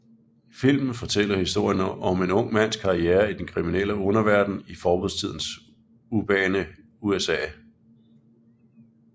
Filmen fortæller historien om en ung mands karriere i den kriminelle underverden i forbudstidens urbane USA